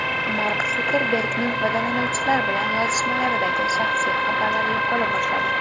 Mark Sukerbergning foydalanuvchilar bilan yozishmalaridagi shaxsiy xabarlari yo‘qola boshladi.